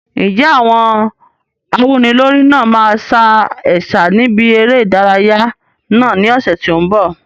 Ǹjẹ́ àwọn awúnilórí náà máa sa ẹ̀sà níbi eré ìdárayá náà ní ọ̀sẹ̀ tó ń bọ̀?